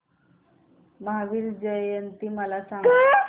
महावीर जयंती मला सांगा